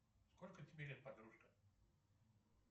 сколько тебе лет подружка